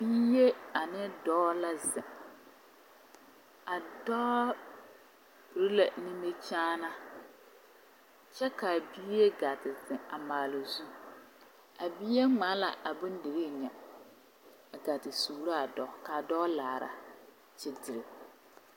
Bie ane dɔɔ la zeŋ a dɔɔ piri la nimikyaana kyɛ ka a bie gaa te zeŋ a maale o zu a bie ŋmaa la a bondirii nya ka gaa te suura a dɔɔ ka a dɔɔ laara kyerekyere.